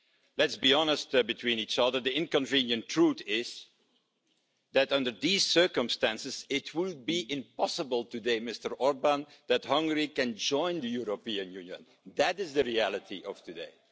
Let's be honest between each other, the inconvenient truth is that, under these circumstances, it would be impossible today, Mr Orbán, for Hungary to join the European Union. That is the reality of today.